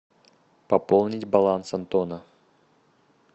пополнить баланс антона